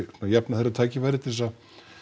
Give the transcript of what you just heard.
að jafna þeirra tækifæri til þess að